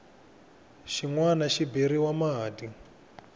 xin wana xi beriwa mati